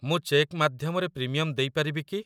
ମୁଁ ଚେକ୍ ମାଧ୍ୟମରେ ପ୍ରିମିୟମ୍‌ ଦେଇ ପାରିବି କି?